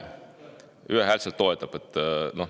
Ühehäälselt toetab.